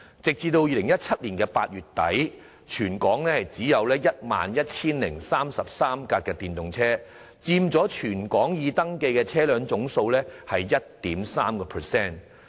截至2017年8月底，全港只有 11,033 輛電動車，佔全港已登記車輛總數的 1.3%。